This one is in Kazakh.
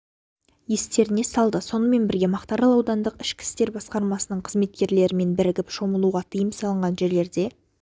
естеріне салды сонымен бірге мақтарал аудандық ішкі істер басқармасының қызметкерлерімен бірігіп шомылуға тыйым салынған жерлерде